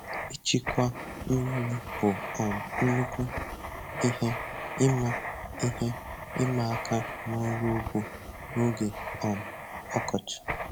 Ịchịkwa mmiri bụ um nnukwu ihe ịma ihe ịma aka n'ọrụ ugbo n'oge um ọkọchị.